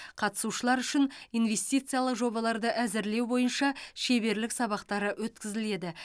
қатысушылар үшін инвестициялық жобаларды әзірлеу бойынша шеберлік сабақтары өткізіледі